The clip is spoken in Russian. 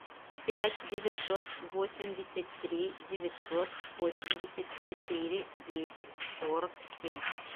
пять девятьсот восемьдесят три девятьсот восемьдесят четыре десять сорок семь